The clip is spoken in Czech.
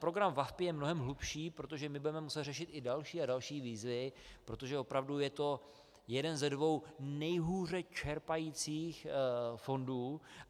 Program VaVpI je mnohem hlubší, protože my budeme muset řešit i další a další výzvy, protože opravdu je to jeden ze dvou nejhůře čerpajících fondů.